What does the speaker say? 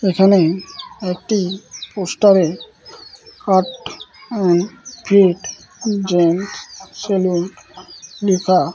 এখানে একটি পোস্টারে cut and fit gent salon লিখা।